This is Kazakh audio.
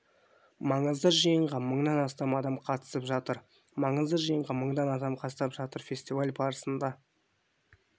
маңызды жиынға мыңнан астам адам қатысып жатыр маңызды жиынға мыңнан астам адам қатысып жатыр фестиваль барысында